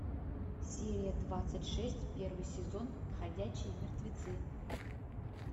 серия двадцать шесть первый сезон ходячие мертвецы